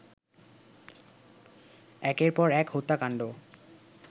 একের পর এক হত্যাকাণ্ড